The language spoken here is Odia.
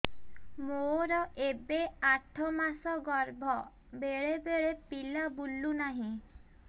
ମୋର ଏବେ ଆଠ ମାସ ଗର୍ଭ ବେଳେ ବେଳେ ପିଲା ବୁଲୁ ନାହିଁ